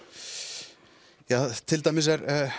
tja til dæmis